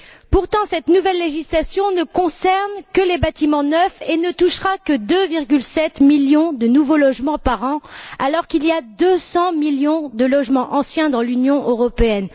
Pourtant, cette nouvelle législation ne concerne que les bâtiments neufs et ne touchera que 2,7 millions de nouveaux logements par an alors qu'il y a 200 millions de logements anciens dans l'Union européenne.